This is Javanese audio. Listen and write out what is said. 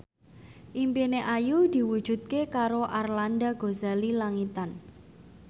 impine Ayu diwujudke karo Arlanda Ghazali Langitan